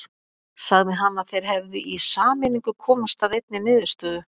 Sagði hann að þeir hefðu í sameiningu komist að einni niðurstöðu.